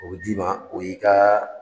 O bɛ di ma o y'i ka.